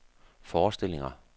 forestillinger